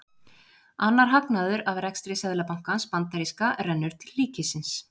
Annar hagnaður af rekstri seðlabankans bandaríska rennur til ríkisins.